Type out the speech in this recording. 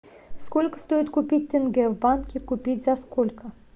сколько стоит купить тенге в банке купить за сколько